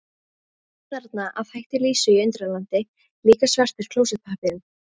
Allt þarna að hætti Lísu í Undralandi, líka svartur klósettpappírinn.